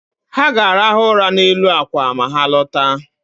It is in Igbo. Ha ga-arahụ ụra n’elu àkwà ma ha lọta